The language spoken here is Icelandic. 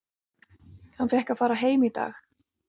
Hann fékk að fara heim í dag.